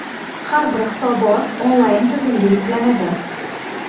Har bir hisobot onlayn tizimga yuklanadi.